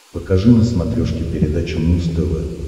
покажи на смотрешке передачу муз тв